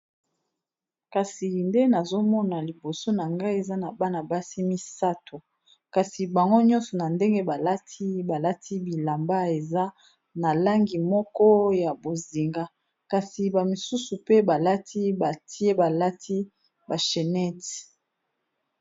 Kasi nde nazomona liboso nangai eza bana basi misatu bango nyoso balati ba bilamba ya langi ya bozinga bamisusu pe balati ba chenete ya kingo